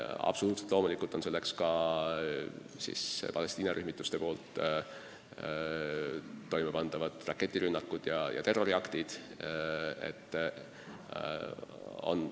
Absoluutselt loomulikult on selleks ka Palestiina rühmituste toimepandavad raketirünnakud ja terroriaktid.